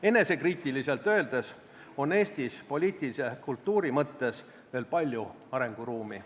Enesekriitiliselt öeldes on Eestis poliitilise kultuuri mõttes veel palju arenguruumi.